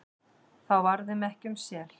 þá var þeim ekki um sel,